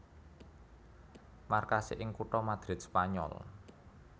Markasé ing kutha Madrid Spanyol